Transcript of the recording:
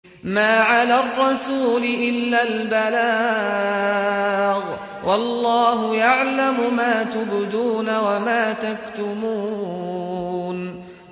مَّا عَلَى الرَّسُولِ إِلَّا الْبَلَاغُ ۗ وَاللَّهُ يَعْلَمُ مَا تُبْدُونَ وَمَا تَكْتُمُونَ